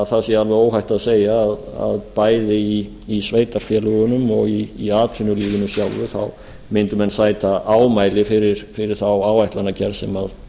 það sé alveg óhætt að segja að í sveitarfélögunum og í atvinnulífinu sjálfu mundu menn sæta ámæli fyrir þá áætlanagerð sem